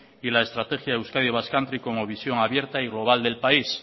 y la estrategia de euskadi basque country como visión abierta y global del país